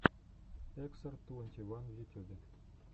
эксар твонти ван в ютюбе